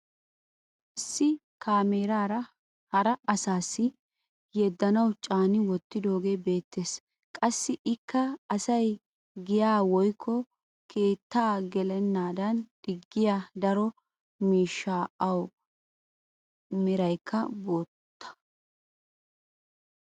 issi kaameeraa hara asaassi yeddanawu caani wottidoogee beetees. qassi ikka asay giyaa woykko keettaa gelenaadan digiya daro miishsha awu meraykka bootta.